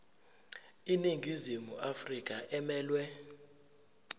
iningizimu afrika emelwe